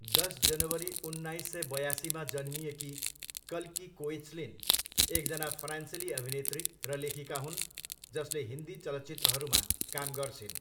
दस जनवरी उन्नाइस सय बयासीमा जन्मिएकी कल्की कोएच्लिन एकजना फ्रान्सेली अभिनेत्री र लेखिका हुन् जसले हिन्दी चलचित्रहरूमा काम गर्छिन्।